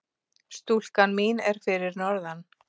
Stúlkan mín er fyrir norðan.